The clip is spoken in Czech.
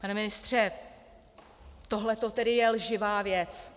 Pane ministře, tohle to je tedy lživá věc?